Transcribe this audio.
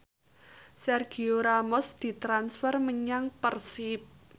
Sergio Ramos ditransfer menyang Persib